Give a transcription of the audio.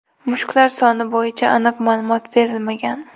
Mushuklar soni bo‘yicha aniq ma’lumot berilmagan.